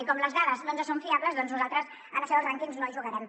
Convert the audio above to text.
i com que les dades no ens són fiables doncs nosaltres a això dels rànquings no hi jugarem